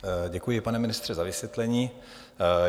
Děkuji, pane ministře, za vysvětlení.